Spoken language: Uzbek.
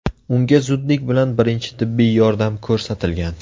Unga zudlik bilan birinchi tibbiy yordam ko‘rsatilgan.